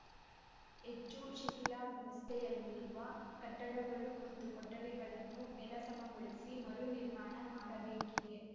ಹೆಚ್ಚು ಶಿಥಿಲಾವಸ್ಥೆಯಲ್ಲಿರುವ ಕಟ್ಟಡಗಳು ಮತ್ತು ಕೊಠಡಿಗಳನ್ನು ನೆಲಸಮಗೊಳಿಸಿ ಮರು ನಿರ್ಮಾಣ ಮಾಡಬೇಕಿದೆ